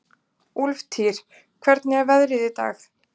Úlftýr, hvernig er veðrið í dag?